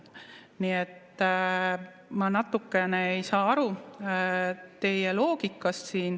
Nii et ma natukene ei saa aru teie loogikast.